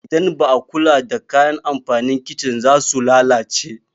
Idan ba a kula da kayan amfanin kicin za su lalace.